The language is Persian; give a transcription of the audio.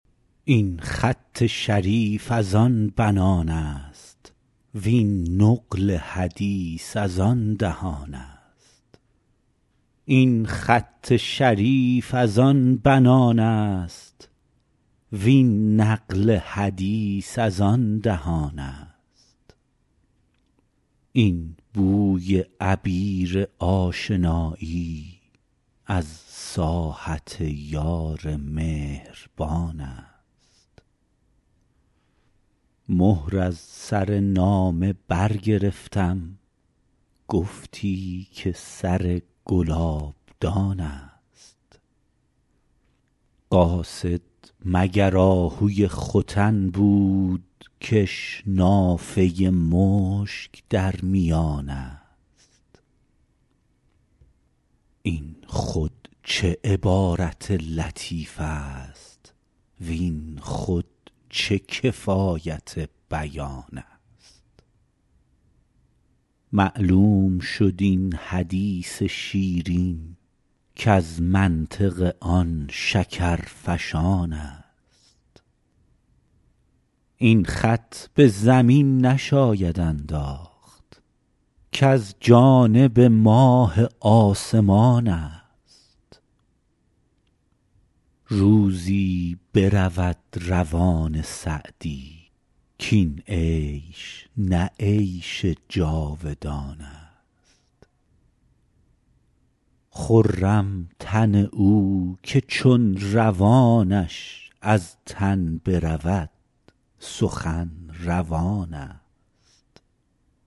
این خط شریف از آن بنان است وین نقل حدیث از آن دهان است این بوی عبیر آشنایی از ساحت یار مهربان است مهر از سر نامه برگرفتم گفتی که سر گلابدان است قاصد مگر آهوی ختن بود کش نافه مشک در میان است این خود چه عبارت لطیف است وین خود چه کفایت بیان است معلوم شد این حدیث شیرین کز منطق آن شکرفشان است این خط به زمین نشاید انداخت کز جانب ماه آسمان است روزی برود روان سعدی کاین عیش نه عیش جاودان است خرم تن او که چون روانش از تن برود سخن روان است